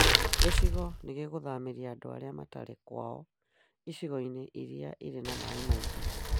Gĩcigo nĩ gĩgũthamĩria andũ arĩa matarĩ kwaao icigo-inĩ iria irĩ na maaĩ maingĩ